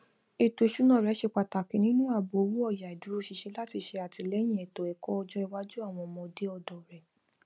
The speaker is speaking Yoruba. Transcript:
ètò iṣúná rẹ ṣe pàtàkì nínú àbò owóòyà ìdùróṣinṣin láti ṣe àtìlẹyìn ètòẹkọ ọjọ iwájú àwọn ọmọde ọdọ rẹ